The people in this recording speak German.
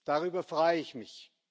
Darüber freue ich mich.